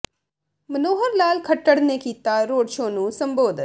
ਮਨੋਹਰ ਲਾਲ ਖੱਟੜ ਨੇ ਕੀਤਾ road show ਨੂੰ ਸੰਬੋਧਨ